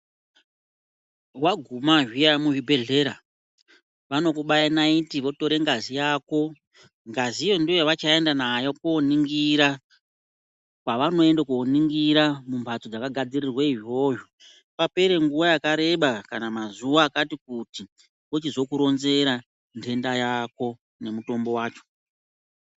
Waguma zviya muzvibhedhlera, vanokubaya nayiti votore ngazi yako. Ngazi iyoyo ndiyo ndoyavachaenda nayo koningira pavanoende koningira mumhatso dzakagadzirirwe izvozvo. Papere nguwa yakareba kana mazuva akati kuti vochizokuronzera ndenda yako nomutombo wakona.